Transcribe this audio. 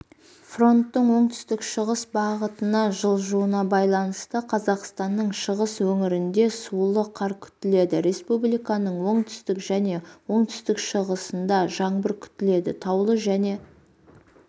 фронттың оңтүстік шығыс бағытына жылжуына байланысты қазақстанның шығыс өңірінде сулы қар күтіледі республиканың оңтүстік және оңтүстік шығысында жаңбыр күтіледі таулы және